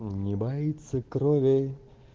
не боится крови